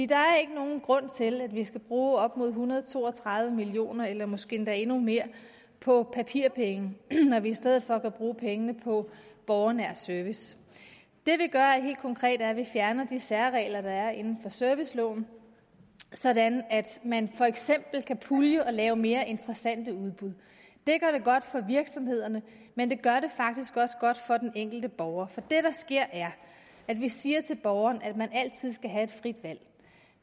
der er ikke nogen grund til at vi skal bruge op mod en hundrede og to og tredive million kroner eller måske endda endnu mere på papirpenge når vi i stedet for kan bruge pengene på borgernær service det vi gør er helt konkret at vi fjerner de særregler der er inden for serviceloven sådan at man for eksempel kan pulje og lave mere interessante udbud det gør det godt for virksomhederne men det gør det faktisk også godt for den enkelte borger for det der sker er at vi siger til borgeren at man altid skal have et frit valg